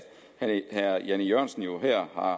at herre jan e jørgensen jo her har